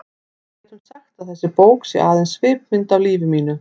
Við getum sagt að þessi bók sé aðeins svipmynd af lífi mínu.